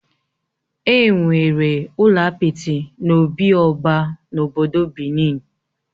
Enwere ụlọ apịtị n'obị oba na obodo Benin